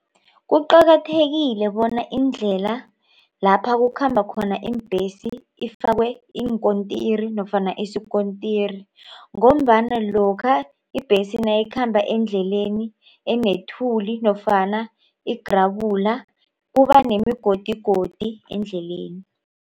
Kuqakathekile bona indlela lapha kukhamba khona iimbhesi ifakwe iinkontiri nofana isikontiri ngombana lokha ibhesi nayikhamba endleleni enethuli nofana igerebula kubanemigodigodi endleleni.